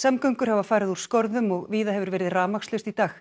samgöngur hafa farið úr skorðum og víða hefur verið rafmagnslaust í dag